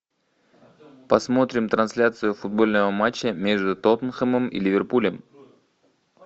посмотрим трансляцию футбольного матча между тоттенхэмом и ливерпулем